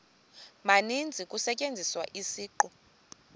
maninzi kusetyenziswa isiqu